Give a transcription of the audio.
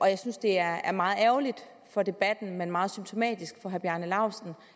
jeg synes det er meget ærgerligt for debatten men meget symptomatisk for herre bjarne laustsen